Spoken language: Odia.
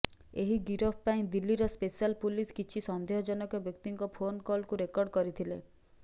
ଏହି ଗିରଫ ପାଇଁ ଦିଲ୍ଲୀର ସ୍ପେସାଲ ପୁଲିସ କିଛି ସନ୍ଦେହଜନକ ବ୍ୟକ୍ତିଙ୍କ ଫୋନ କଲକୁ ରେକର୍ଡ଼ କରିଥିଲେ